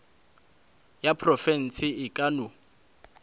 ya profense e ka no